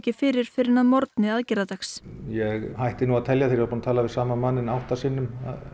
fyrir fyrr en að morgni aðgerðardags ég hætti nú að telja þegar ég var búin að tala við sama manninn átta sinnum